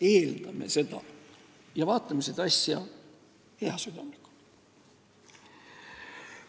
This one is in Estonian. Eeldame seda ja vaatame seda asja heasüdamlikult.